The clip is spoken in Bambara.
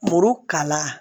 Muru kala